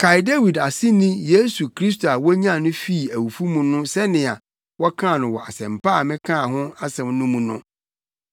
Kae Dawid aseni Yesu Kristo a wonyan no fi awufo mu sɛnea wɔkaa no wɔ Asɛmpa a mekaa ho asɛm no mu no.